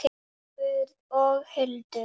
Leifur og Hildur.